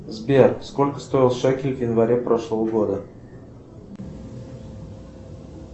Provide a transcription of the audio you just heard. сбер сколько стоил шекель в январе прошлого года